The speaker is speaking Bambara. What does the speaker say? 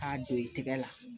K'a don i tɛgɛ la